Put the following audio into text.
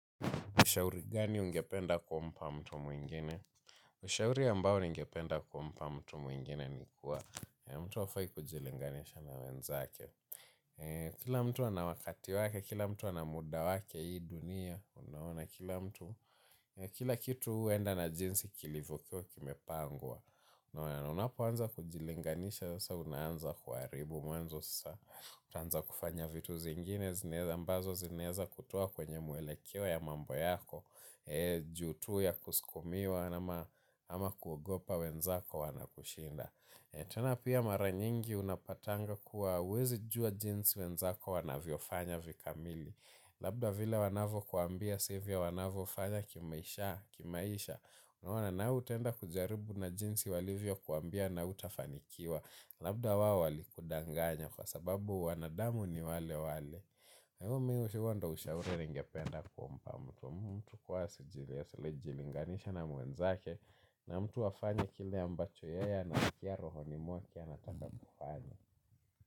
Ushauri gani ungependa kumpa mtu mwingine? Ushauri ambao ningependa kumpa mtu mwingine ni kuwa mtu afai kujilinganisha na wenzake. Kila mtu ana wakati wake, kila mtu ana muda wake hii dunia. Kila kitu huenda na jinsi kilivokuwa kimepangwa. Unapoanza kujilinganisha, unaanza kuaribu. Utaanza kufanya vitu zingine, zineza ambazo zinaeza kutoa kwenye muelekeo ya mambo yako. Ju tu ya kuskumiwa ama kuogopa wenzako wana kushinda. Tena pia mara nyingi unapatanga kuwa huwezi jua jinsi wenzako wanavyo fanya vikamili. Labda vile wanavo kuambia sivyo wanavofanya kimaisha. Unaona na wewe utaenda kujaribu na jinsi walivyo kuambia na hautafanikiwa. Labda wao walikudanganya kwa sababu wanadamu ni wale wale na umi ushiwo ndo ushauri nengependa kumpa mtu wa mtu huwa asijilinganishe na mwenzake na mtu afanye kile ambacho yeye anaskia rohoni mwake anataka kufanya.